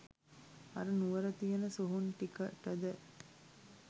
අර නුවර තියන සොහොන් ටිකටද.